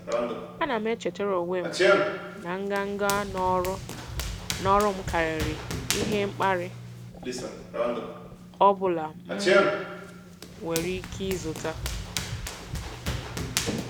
Ana m echetara onwe m na nganga n'ọrụ m karịrị ihe mkparị ọ bụla m nwere ike izute.